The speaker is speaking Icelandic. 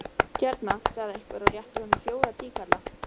Hérna, sagði einhver og rétti honum fjóra tíkalla.